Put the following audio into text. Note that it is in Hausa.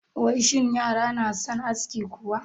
Wai shin yara na son aski kuwa?